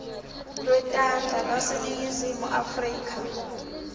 lwetandla lwaseningizimu afrika